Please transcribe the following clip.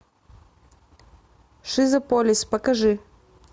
шизополис покажи